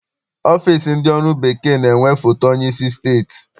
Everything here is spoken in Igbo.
Ọfịịsi ndị ọrụ bekee na-enwe foto onyeisi steeti.